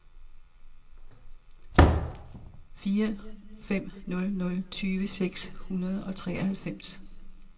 fire fem nul nul tyve seks hundrede og treoghalvfems